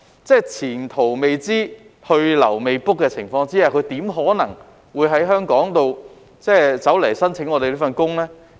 在前途未知、去留未卜的情況下，他怎可能會申請到香港工作呢？